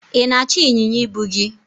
ị na-achọ ịnyịnya ibu gi?